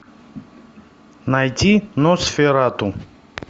найти носферату